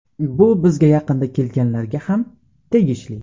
Bu bizga yaqinda kelganlarga ham tegishli.